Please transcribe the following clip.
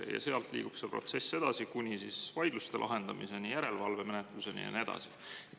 Ja sealt liigub see protsess edasi kuni vaidluste lahendamiseni, järelevalvemenetluseni ja nii edasi.